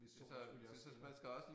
Hvis solen selvfølgelig også skinner